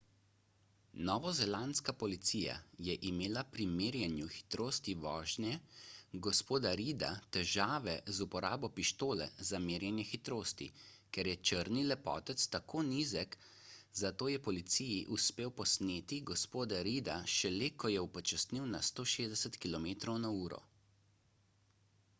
novozelandska policija je imela pri merjenju hitrosti vožnje g. reida težave z uporabo pištole za merjenje hitrosti ker je črni lepotec tako nizek zato je policiji uspelo posneti g. reida šele ko je upočasnil na 160 km/h